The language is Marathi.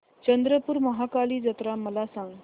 चंद्रपूर महाकाली जत्रा मला सांग